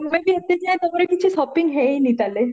ତମେ ବି ଏତେ ଯାଏ ତମର ବି କିଛି shopping ହେଇନି ତାହାହେଲେ